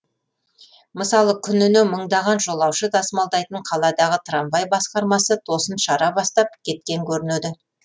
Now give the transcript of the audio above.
мысалы күніне мыңдаған жолаушы тасымалдайтын қаладағы трамвай басқармасы тосын шара бастап кеткен көрінеді